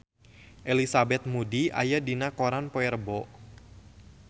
Elizabeth Moody aya dina koran poe Rebo